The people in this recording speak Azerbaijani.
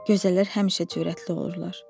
Gözəllər həmişə cürətli olurlar.